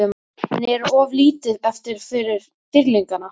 En er of lítið eftir fyrir Dýrlingana?